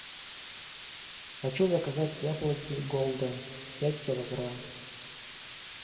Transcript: хочу заказать яблоки голден пять килограмм